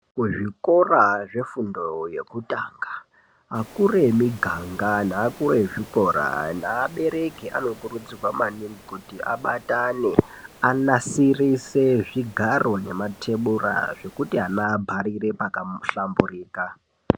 Kuzvikora zvefundo yekutanga akuru emiganga nevakuru vezvikora nevabereki anokurudzirwa maningi kuti abatane anasirisenzvigaro nematebura zvekuti ana abharire pakahlamburika.